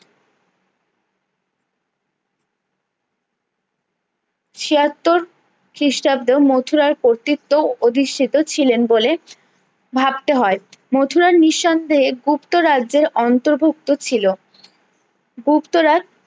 ছিয়াত্তর খ্রিষ্টাব্দে ও মথুরার কর্তৃত্ব অধিষ্ঠিত ছিলেন বলে ভাবতে হয়ে মথুরা নিঃসন্দেহে গুপ্ত রাজ্জ্যের অন্তর ভুক্ত ছিলো গুপ্তরাজ